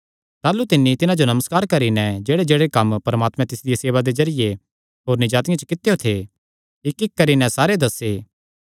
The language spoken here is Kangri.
ताह़लू तिन्नी तिन्हां जो नमस्कार करी नैं जेह्ड़ेजेह्ड़े कम्म परमात्मैं तिसदिया सेवा दे जरिये होरनी जातिआं च कित्यो थे इक्क इक्क करी नैं सारे दस्से